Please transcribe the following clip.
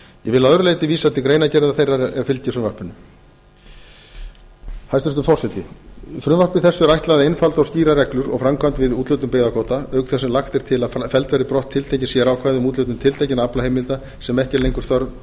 að öðru leyti vísa til greinargerðar þeirrar er fylgir frumvarpinu hæstvirtur forseti frumvarpi þessu er ætlað að einfalda og skýra reglur og framkvæmd við úthlutun byggðakvóta auk þess sem lagt er til að felld verði birti tiltekin sérákvæði um úthlutun tiltekinna aflaheimilda sem ekki er lengur þörf